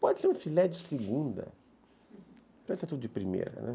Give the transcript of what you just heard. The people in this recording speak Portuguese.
Pode ser um filé de segunda, pode ser tudo de primeira, né.